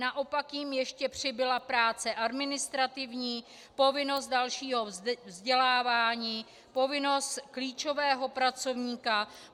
Naopak jim ještě přibyla práce administrativní, povinnost dalšího vzdělávání, povinnost klíčového pracovníka.